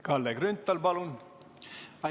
Kalle Grünthal, palun!